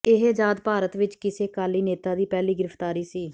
ਇਹ ਆਜ਼ਾਦ ਭਾਰਤ ਵਿਚ ਕਿਸੇ ਅਕਾਲੀ ਨੇਤਾ ਦੀ ਪਹਿਲੀ ਗ੍ਰਿਫ਼ਤਾਰੀ ਸੀ